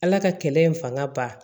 Ala ka kɛlɛ in fanga ba